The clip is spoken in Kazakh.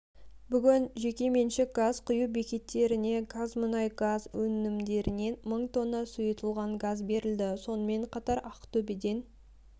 бүгін жекеменшік газ құю бекеттеріне қазмұнайгаз өнімдерінен мың тонна сұйытылған газ берілді сонымен қатар ақтөбеден